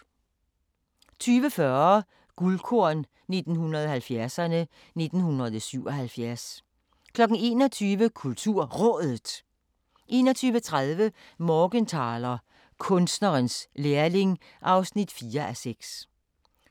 20:40: Guldkorn 1970'erne: 1977 21:00: KulturRådet 21:30: Morgenthaler: Kunstnerens lærling (4:6)